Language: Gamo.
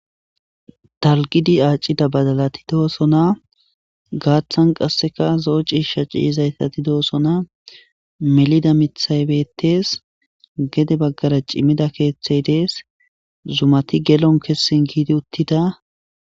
Talgidi aacida badalati doosona gaaththan qasseka zoo ciisha ciyizaytati doossona melida mithay bettees gede baggara cimmida keeththey dees zumati gelon kessin giidi uttida.